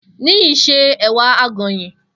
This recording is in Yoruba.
Niyi se èwà àgònyìn.